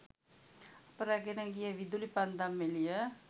අප රැගෙන ගිය විදුලි පන්දම් එළිය